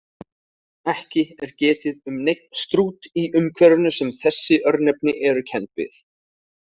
Ekki er getið um neinn Strút í umhverfinu sem þessi örnefni eru kennd við.